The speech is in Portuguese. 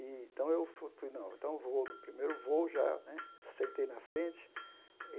Então, eu fu fui no então eu vou no primeiro voo, já né sentei na frente.